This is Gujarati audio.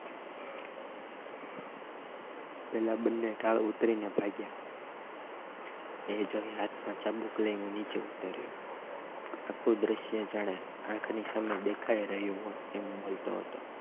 પેલા બંને ઢાળ ઉતરીને ભાગ્યા એ જોઈ હાથમાં ચાબુક લઈને નીચે ઉતાયો આખું દ્રશ્ય જાણે આંખની સામે દેખાય એમ બોલતો હતો